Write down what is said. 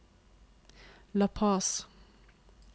La Paz